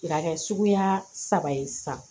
Ka kɛ suguya saba ye sisan